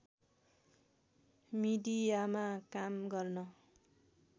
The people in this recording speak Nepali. मिडियामा काम गर्न